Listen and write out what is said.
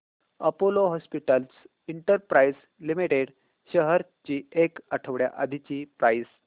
Apollo hospitals enterprise limited shares ची एक आठवड्या आधीची प्राइस